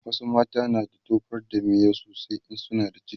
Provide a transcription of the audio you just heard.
wasu mata na da tofar da miyau sosai in suna da ciki